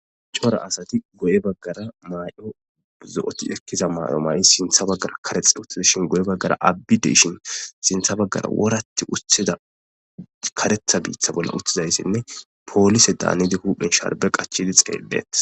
Cora asati goye baggara may'o zo'oti ekkiza maay'o may' sintha baggara karexe uttidashin goye baggara abbideshin sintha baggara woratti uttida karetha biitha bolla uttizayssinne poolise daanidi huphen sharbe qachidi xeelleet.